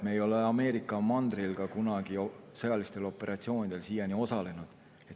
Me ei ole Ameerika mandril ka sõjalistel operatsioonidel siiani osalenud.